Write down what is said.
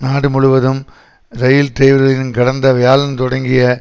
நாடு முழுவதும் இரயில் டிரைவர்களின் கடந்த வியாழன் தொடங்கிய